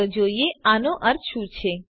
ચાલો જોઈએ આનો અર્થ શું છે